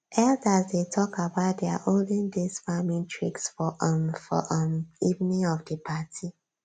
elders dey talk about dia olden days farming tricks for um for um evening of di party